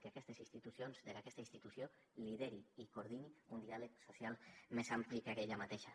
que aquestes institucions que aquesta institució lideri i coor dini un diàleg social més ampli que ella mateixa